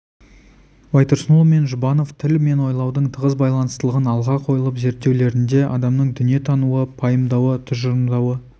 байтұрсынұлы мен жұбанов тіл мен ойлаудың тығыз байланыстылығын алға қойылып зерттеулерінде адамның дүниені тануы пайымдауы тұжырымдауы